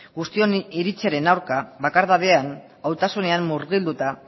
guztion iritziaren aurka bakardadean murgilduta